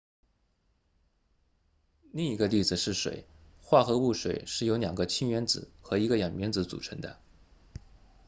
另一个例子是水化合物水是由两个氢原子和一个氧原子组成的